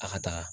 A ka taga